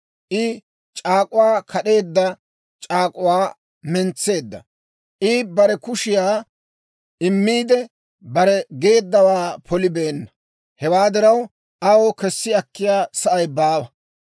I c'aak'uwaa kad'eedda; c'aak'uwaa mentseedda. I bare kushiyaakka immiide, bare geeddawaa polibeenna. Hewaa diraw, aw kessi akkiyaa sa'ay baawa.